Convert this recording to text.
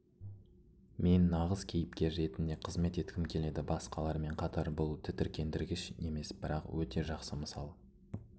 мен нағыз кейіпкер ретінде қызмет еткім келеді басқалармен қатар бұл тітіркендіргіш емес бірақ өте жақсы мысал